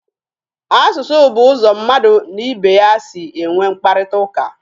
Asụsụ bụ ụzọ mmadụ n'ibe ya si enwe mkparịtaụka.